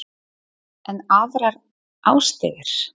En aðrar árstíðir?